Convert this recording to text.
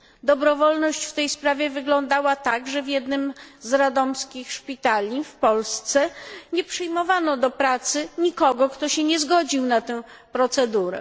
Dobrowolność w tej sprawie wyglądała tak, że w jednym z radomskich szpitali, w Polsce, nie przyjmowano do pracy nikogo, kto się nie zgodził na tę procedurę.